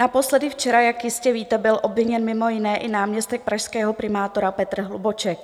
Naposledy včera, jak jistě víte, byl obviněn mimo jiné i náměstek pražského primátora Petr Hlubuček.